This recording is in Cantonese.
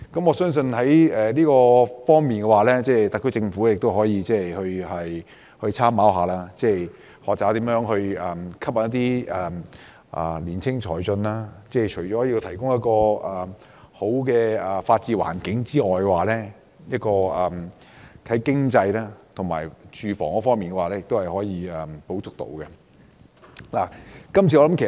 我相信在這方面，特區政府也可參考，學習如何吸引青年才俊到來，政府除了提供良好的法治環境外，在經濟及住屋方面亦可以提供一些補助。